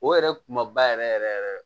O yɛrɛ kuma ba yɛrɛ yɛrɛ yɛrɛ